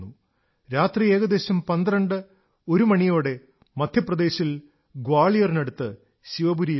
രാത്രി ഏകദേശം പന്ത്രണ്ട് ഒരു മണിയോടെ മധ്യപ്രദേശിൽ ഗ്വാളിയറിനടുത്ത് ശിവപുരിയിലെത്തി